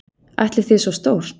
Ætlið þið svo stórt?